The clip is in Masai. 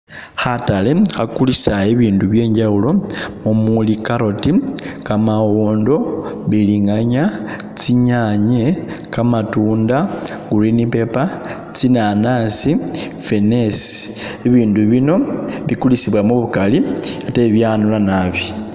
Khatale khakulisa ibindu byenjawulo mumuli carrot, kamawondo, mbilinganya tsinyanye, kamatunda, green paper, tsinanasi, ffenesi bibindu bino bikulisibwa mubukali ate byanula naabi